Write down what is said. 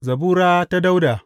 Zabura ta Dawuda.